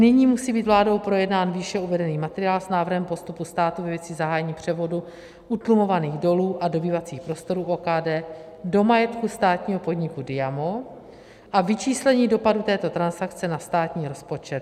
Nyní musí být vládou projednán výše uvedený materiál s Návrhem postupu státu ve věci zahájení převodu utlumovaných dolů a dobývacích prostorů OKD do majetku státního podniku Diamo a vyčíslení dopadů této transakce na státní rozpočet.